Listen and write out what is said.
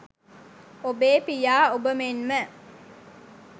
ඔබේ පියා ඔබ මෙන්ම